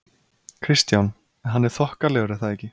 Kristján: En hann er þokkalegur er það ekki?